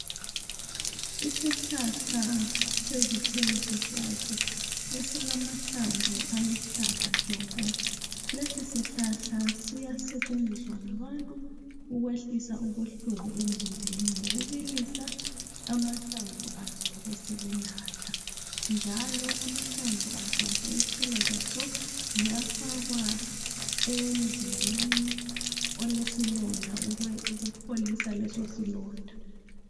Isihlahla sezithelo sepopo esilamahlamvu aluhlaza tshoko lesi sihlahla siyasetshenziswa ngabantu ukwehlisa ubuhlungu emzimbeni ngokubilisa amahlamvu aso besebenatha njalo amahlamvu aso lezithelo zaso ziyafakwa emzimbeni olesilonda ukupholisa leso silonda.